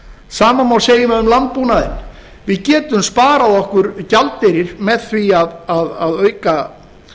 sama má segja um landbúnaðinn við getum sparað okkur gjaldeyri með því að auka